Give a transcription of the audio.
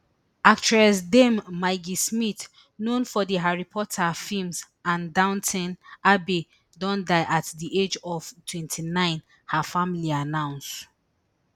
actress dame maggie smith known for di harry potter feems and downton abbey don die at di age of eighty-nine her family announce